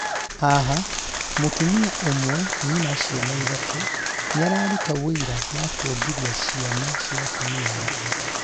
haha, mũtumia ũmwe nyina ciana ithatũ nĩararuta ũira wa kuongithia ciana cia atumia angĩ